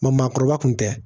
Ma maakɔrɔba kun tɛ